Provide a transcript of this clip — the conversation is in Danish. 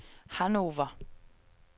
Hannover